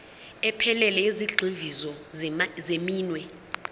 ephelele yezigxivizo zeminwe